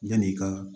Yan'i ka